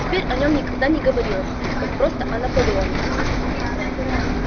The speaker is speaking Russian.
теперь о нём никогда не говорилось как просто о наполеоне